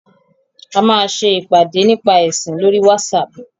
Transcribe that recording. A máa ṣe ìpàdé nípa ẹ̀sìn lóri WhatsApp.